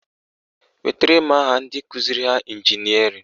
Wetara m aha ndị kụziri ha ịnjinịarịn!